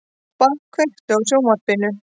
Tobba, kveiktu á sjónvarpinu.